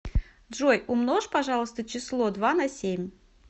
джой умножь пожалуйста число два на семь